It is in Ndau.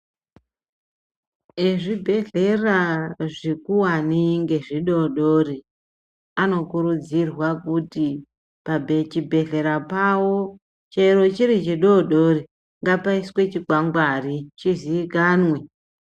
Vezvibhedhlera zvikuwani ngezvidoodori anokurudzirwa kuti pachibhedhlera pawo chero chiri chidoodori ngapaiswe chikwangwari chiziikanwe.